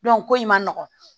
ko in ma nɔgɔ